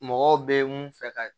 Mɔgɔw bɛ mun fɛ ka